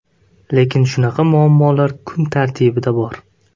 Lekin shunaqa muammolar kun tartibida bor.